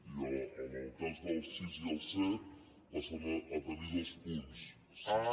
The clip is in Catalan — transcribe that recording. i en el cas del sis i el set passen a tenir dos punts sis